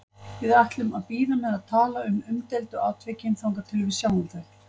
Við ætlum að bíða með að tala um umdeildu atvikin þangað til við sjáum þau.